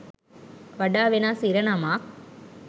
වඩා වෙනස් ඉරණමක්